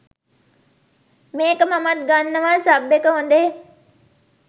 මේක මමත් ගන්නවා සබ් ඒක හොදේ